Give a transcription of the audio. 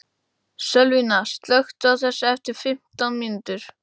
Sölvína, slökktu á þessu eftir fimmtán mínútur.